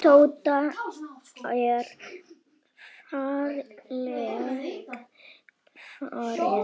Tóta er fallin frá.